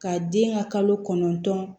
Ka den ka kalo kɔnɔntɔn